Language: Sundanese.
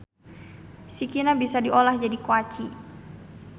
Sikina bisa diolah jadi koaci.